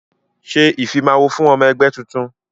Ṣé ìfimawo fún ọmọ ẹgbẹ́ tuntun!